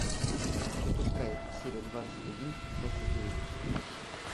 запускай серия двадцать один остаться в живых